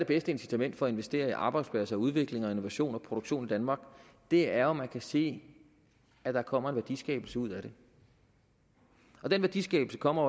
bedste incitament for at investere i arbejdspladser og udvikling og innovation og produktion i danmark det er jo at man kan se at der kommer en værdiskabelse ud af det og den værdiskabelse kommer